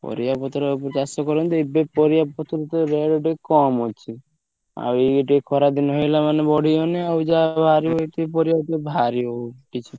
ପରିବା ପତ୍ର ଉପରେ ଚାଷ କରନ୍ତି ଏବେ ପରିବା ପତ୍ର ତ rate ଟିକେ କମ୍ ଅଛି। ଆଉ ଇଏ ଟିକେ ଖରା ଦିନ ହେଇଗଲା ମାନେ ବଢିଗଲେ ଆଉ ଯାହା ବାହାରିବ ଏତିକି ପରିବାତ ବାହାରିବନି କିଛି।